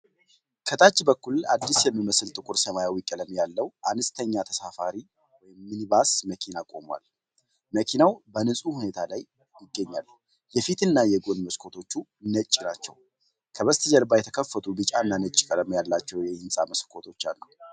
ከታች በኩል አዲስ የሚመስል ጥቁር ሰማያዊ ቀለም ያለው አነስተኛ ተሳፋሪ (ሚኒባስ) መኪና ቁሟል። መኪናው በንፁህ ሁኔታ ላይ ይገኛል፣ የፊት እና የጎን መስኮቶቹ ነጭ ናቸው። ከበስተጀርባ የተከፈቱ ቢጫና ነጭ ቀለም ያላቸው የሕንፃ መስኮቶች አሉ።